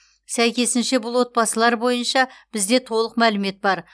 сәйкесінше бұл отбасылар бойынша бізде толық мәлімет бар